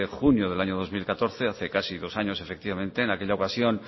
junio del año dos mil catorce hace casi dos años efectivamente en aquella ocasión